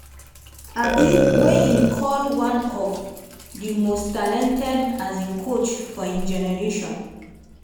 um wey im call one of di most talented um coach for im generation.